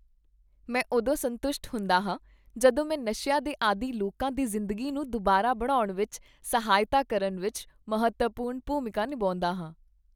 ਮੈਂ ਉਦੋਂ ਸੰਤੁਸ਼ਟ ਹੁੰਦਾ ਹਾਂ ਜਦੋਂ ਮੈਂ ਨਸ਼ਿਆਂ ਦੇ ਆਦੀ ਲੋਕਾਂ ਦੀ ਜ਼ਿੰਦਗੀ ਨੂੰ ਦੁਬਾਰਾ ਬਣਾਉਣ ਵਿੱਚ ਸਹਾਇਤਾ ਕਰਨ ਵਿੱਚ ਮਹੱਤਵਪੂਰਨ ਭੂਮਿਕਾ ਨਿਭਾਉਂਦਾ ਹਾਂ।